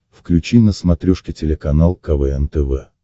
включи на смотрешке телеканал квн тв